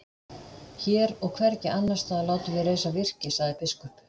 Hér og hvergi annars staðar látum við reisa virki, sagði biskup.